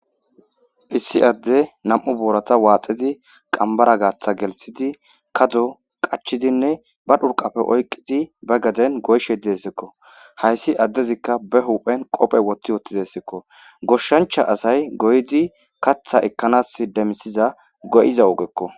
Issi adde nam'u boorata waaxezi qambara gaatha gelsidi kado qachidinne ba dhurqapfe oyqqizi ba gaden goyshe diesekko hayssi addezikka be huphen qophe wotti wottidesekko goshshancha asay goydi katha ekkanas demisiza go'iza ogekko.